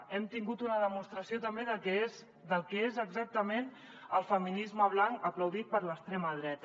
hem tingut una demostració també del que és exactament el feminisme blanc aplaudit per l’extrema dreta